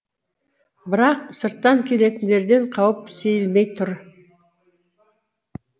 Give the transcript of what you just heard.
бірақ сырттан келетіндерден қауіп сейілмей тұр